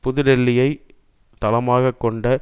புதுடெல்லியை தளமாக கொண்ட